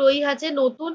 রহিয়াছে। নতুন